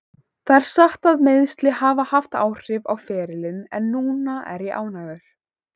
Það er satt að meiðsli hafa haft áhrif á ferilinn en núna er ég ánægður.